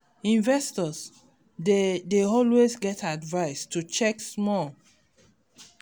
investors dey dey always get advice to check small